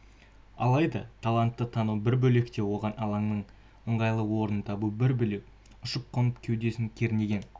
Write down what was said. алайда талантты тану бір бөлек те оған алаңнан ыңғайлы орын табу бір бөлек ұшып-қонып кеудесін кернеген